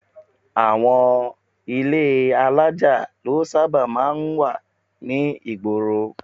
Àwọn ilé alájà ló sábà máa ń wà ní ìgboro